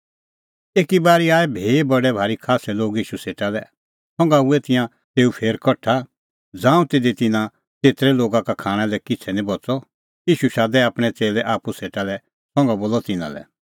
तिन्नां धैल़ी ज़ांऊं भी बडै भारी खास्सै लोग कठा हुऐ ता तिन्नां हज़ारो लोगा का नांईं त तिधी खाणां लै बच़अ ईशू शादै आपणैं च़ेल्लै आप्पू सेटा लै और तिन्नां लै बोलअ